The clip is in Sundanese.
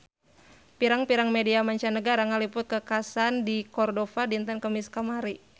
Pirang-pirang media mancanagara ngaliput kakhasan di Cordova dinten Kemis kamari